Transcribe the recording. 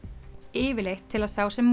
yfirleitt til að sá sem